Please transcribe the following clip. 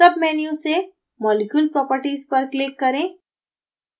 submenu से molecule properties पर click करें